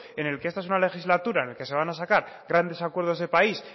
en el que esta es una legislatura en el que se van ha sacar grandes acuerdos del país